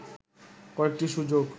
কয়েকটি সুযোগ